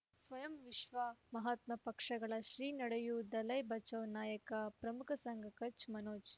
ಸ್ವಯಂ ವಿಶ್ವ ಮಹಾತ್ಮ ಪಕ್ಷಗಳು ಶ್ರೀ ನಡೆಯೂ ದಲೈ ಬಚೌ ನಾಯಕ ಪ್ರಮುಖ ಸಂಘ ಕಚ್ ಮನೋಜ್